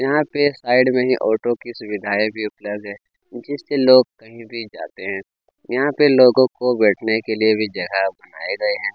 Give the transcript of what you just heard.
यहाँ पे साइड में ही ऑटो की सुविधाए भी उपलब्ध है जिससें लोग कहीं भी जाते है यहाँ पे लोगों को बैठने के लिए भी जगह बनाए गए है।